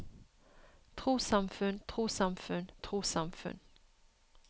trossamfunn trossamfunn trossamfunn